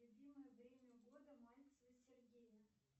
любимое время года мальцева сергея